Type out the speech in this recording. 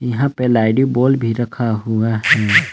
यहां पे भी रखा हुआ है।